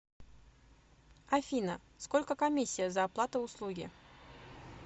афина сколько комиссия за оплаты услуги